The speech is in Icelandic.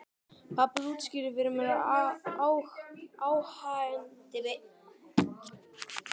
Pabbi útskýrði fyrir mér að áhangendur liðanna væru að syngja.